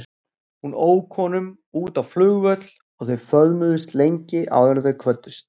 Hún ók honum út á flugvöll og þau föðmuðust lengi áður en þau kvöddust.